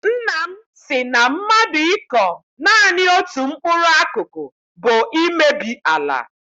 Nna m sị na mmadụ ịkọ naanị otu mkpụrụ akụkụ bụ imebi ala.